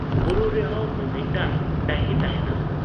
ᱵᱩᱨᱩ ᱨᱮᱦᱚᱸ ᱢᱤᱢᱤᱫᱴᱟᱹᱝ ᱰᱟᱹᱦᱤ ᱛᱟᱦᱮᱸᱱᱟ ᱾